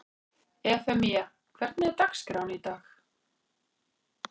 Evfemía, hvernig er dagskráin í dag?